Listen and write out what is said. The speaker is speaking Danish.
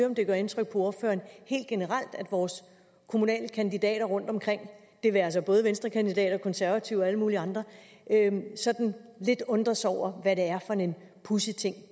om det gør indtryk på ordføreren helt generelt at vores kommunale kandidater rundtomkring det være sig både venstrekandidater og konservative og alle mulige andre sådan lidt undres over hvad det er for en pudsig ting